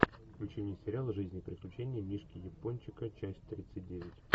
включи мне сериал жизнь и приключения мишки япончика часть тридцать девять